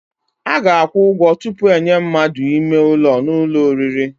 A ga-akwụ ụgwọ tupu enye mmadụ ime ụlọ n'ụlọ oriri.